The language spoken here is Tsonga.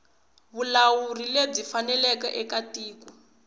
vulawuri lebyi faneleke eka tiko